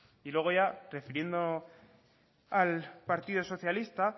y luego ya refiriendo al partido socialista